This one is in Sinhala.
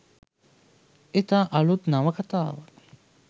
ඉතා අලුත් නවකතාවක්